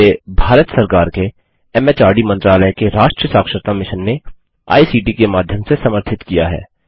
जिसे भारत सरकार के एमएचआरडी मंत्रालय के राष्ट्रीय साक्षरता मिशन ने आई सीटी के माध्यम से समर्थित किया है